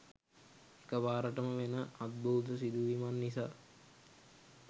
එකපාරටම වෙන අද්භූත සිදුවීමක් නිසා